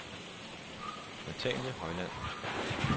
Nathalie Højland